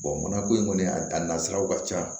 mana ko in kɔni a nasiraw ka ca